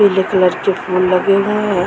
पीले कलर के फूल लगे हुए हैं।